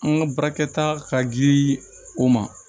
An ka baarakɛta ka di o ma